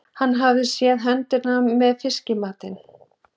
Hann hafði séð höndina með fiskamatinn.